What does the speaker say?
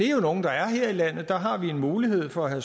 jo nogle der er her i landet der har vi en mulighed for at